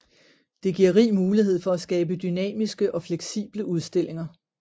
Det giver rig mulighed for at skabe dynamiske og fleksible udstillinger